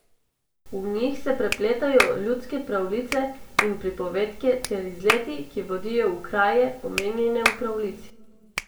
V njih se prepletajo ljudske pravljice in pripovedke ter izleti, ki vodijo v kraje, omenjene v pravljici.